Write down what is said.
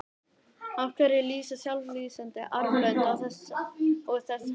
Af hverju lýsa sjálflýsandi armbönd og þess háttar?